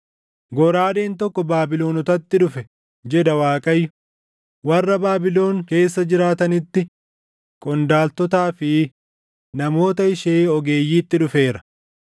“Goraadeen tokko Baabilonotatti dhufe!” jedha Waaqayyo; “warra Baabilon keessa jiraatanitti, qondaaltotaa fi namoota ishee ogeeyyiitti dhufeera!